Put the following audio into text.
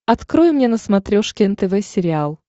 открой мне на смотрешке нтв сериал